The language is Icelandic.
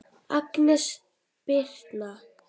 Agnes Birtna.